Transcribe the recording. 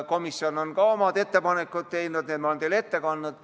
Komisjon on ka omad ettepanekud teinud ja need ma olen teile ette kandnud.